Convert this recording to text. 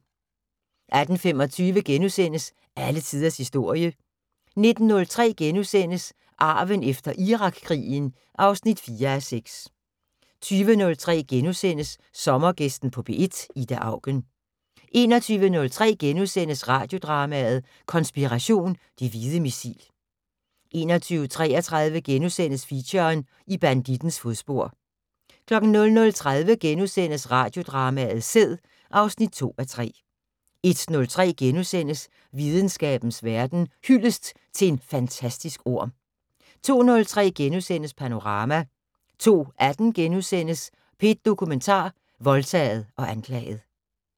18:25: Alle tiders historie * 19:03: Arven efter Irakkrigen (4:6)* 20:03: Sommergæsten på P1: Ida Auken * 21:03: Radiodrama: Konspiration - Det hvide missil * 21:33: Feature: I bandittens fodspor * 00:30: Radiodrama: Sæd (2:3)* 01:03: Videnskabens Verden: Hyldest til en fantastisk orm * 02:03: Panorama * 02:18: P1 Dokumentar: Voldtaget og anklaget *